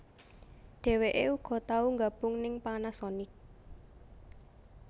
Dheweké uga tau nggabung ning Panasonic